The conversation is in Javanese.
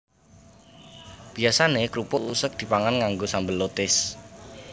Biyasané krupuk useg dipangan nganggo sambel lotis